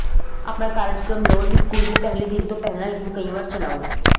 ਆਪਣਾ ਕਾਰਜਕ੍ਰਮ ਲਓ ਅਤੇ ਸਕੂਲ ਦੇ ਪਹਿਲੇ ਦਿਨ ਤੋਂ ਪਹਿਲਾਂ ਇਸਨੂੰ ਕਈ ਵਾਰ ਚਲਾਓ